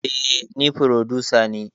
Eh ni frodusa ne